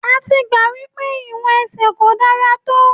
A ti gbà wípé ìwọ̀n ẹsẹ̀ kò dára tó.